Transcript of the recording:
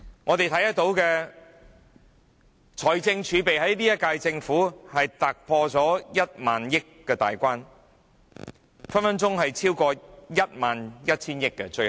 我們看到現屆政府的財政儲備突破1萬億元大關，最後隨時超過1萬 1,000 億元。